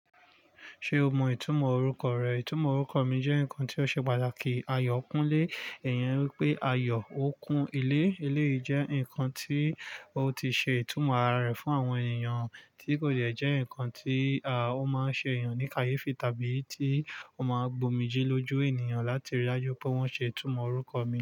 Ṣé o mọ ìtumọ̀ orúkọ rẹ? Ìtumọ̀ orúkọ mi jẹ́ nǹkan tí ó ṣe pàtàkì. Ayọ̀kúnlé, èyàn wípé ayọ̀ ó kun ilé. Eléyìí jẹ́ ǹkan tí ó ti ṣe ìtumọ̀ ara rẹ̀ fún àwọn ènìyàn tí kò jẹ̀ ǹkan tí, ó máa ṣe ènìyàn ní káyéfì tàbí tí ó máa gbomi jí lójú ènìyàn láti rí i lájú pé wọ́n ṣe ìtumọ̀ orúkọ mi.